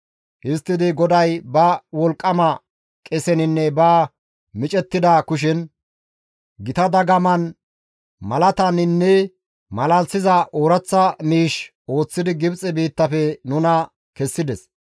Histtidi GODAY ba wolqqama qeseninne ba micettida kushen, gita dagaman, malataninne malalisiza ooraththa miish ooththidi Gibxe biittafe nuna kessides.